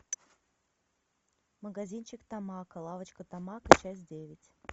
магазинчик тамако лавочка тамако часть девять